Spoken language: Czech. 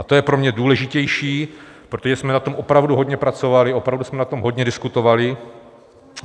A to je pro mě důležitější, protože jsme na tom opravdu hodně pracovali, opravdu jsme na tom hodně diskutovali.